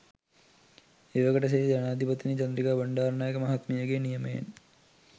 එවකට සිටි ජනාධිපතිනි චන්ද්‍රිකා බණ්ඩාරනායක මහත්මියගේ නියමයෙන්